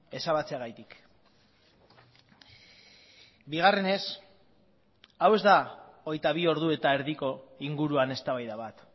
ezabatzeagatik bigarrenez hau ez da hogeita bi ordu eta erdiko inguruan eztabaida bat